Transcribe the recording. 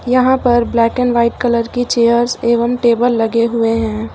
यहां पर black and white colour की चेयर्स एवं टेबल लगे हुए हैं।